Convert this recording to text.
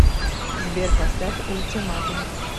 сбер поставь ультиматум